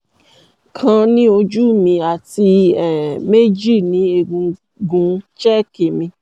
kan ní ojú mi àti um méjì ní egungun chheck mi